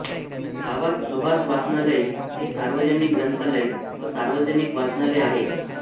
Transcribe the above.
गावात सुभाष वाचनालय हे सार्वजनिक ग्रंथालय व सार्वजनिक वाचनालय आहे